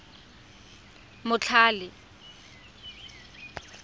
motlhale